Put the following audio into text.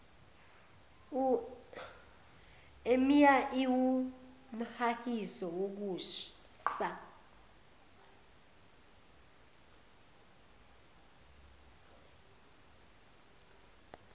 emia iwumhahiso wokusa